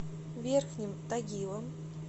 верхним тагилом